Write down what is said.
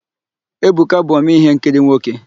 Ebuka bụ omee íhénkiri nwoke.